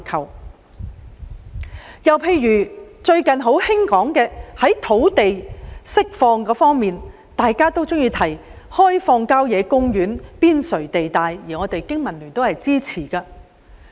另一例子是最近熱議的土地釋放問題，大家常說要開發郊野公園邊陲地帶，經民聯對此亦表支持。